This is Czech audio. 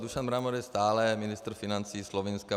Dušan Mramor je stále ministr financí Slovinska.